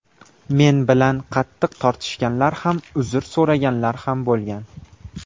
Men bilan qattiq tortishganlar ham, uzr so‘raganlar ham bo‘lgan.